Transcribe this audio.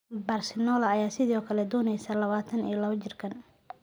Barcelona ayaa sidoo kale dooneysa labatan iyo laba jirkaan.